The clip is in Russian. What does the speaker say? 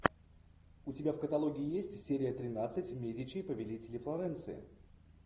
у тебя в каталоге есть серия тринадцать медичи повелители флоренции